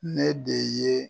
Ne de ye